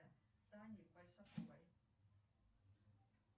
джой хочу чтобы ты выключил будильник